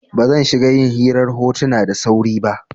Ba zan shiga yin hirar hotuna da sauri ba.